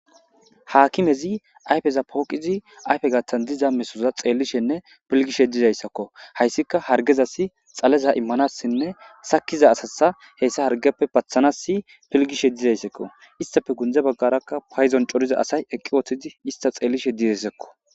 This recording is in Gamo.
Hakimezi ayffeza poqidi ayfe gaththin dizza missoza xelishen filgishe dizayisakko haysika harggezasi xaleza emmanasinne sakiza asasa hargeppe paththanasi pilggish isstappe gunze bagara payidon coriza asayi issita xellishe eqqidakko